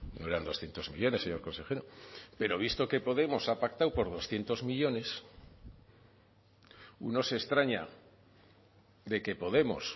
no eran doscientos millónes señor consejero pero visto que podemos ha pactado por doscientos millónes uno se extraña de que podemos